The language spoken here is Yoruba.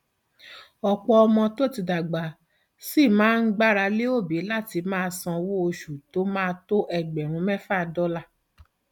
ọpọ ọmọ tó ti dàgbà ṣì ń gbára lé òbí láti máa sanwó oṣù tó máa tó ẹgbẹrún mẹfà dọlà